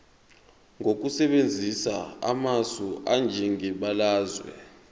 ngokusebenzisa amasu anjengebalazwe